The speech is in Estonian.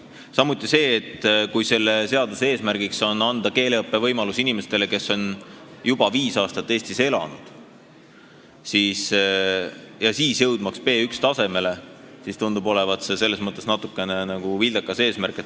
Samuti tundub olevat natuke vildakas see, et selle seaduse eesmärk on anda keeleõppevõimalus inimestele, kes on juba viis aastat Eestis elanud, et nad jõuaks B1-tasemele.